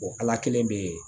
ala kelen bɛ yen